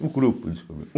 O grupo descobriu.